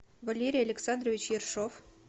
валерий александрович ершов